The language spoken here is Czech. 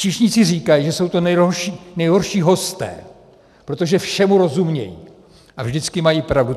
Číšníci říkají, že jsou to nejhorší hosté, protože všemu rozumějí a vždycky mají pravdu.